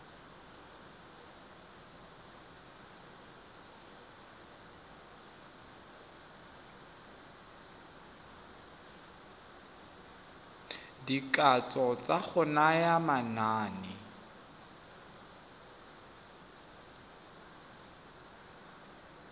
dikatso tsa go naya manane